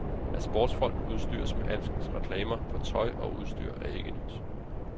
At sportsfolk udstyres med alskens reklamer på tøj og udstyr er ikke nyt.